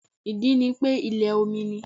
Ìdí ni pé ilẹ̀ omi ni